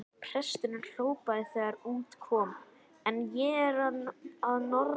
Presturinn hrópaði þegar út kom: En ég er að norðan!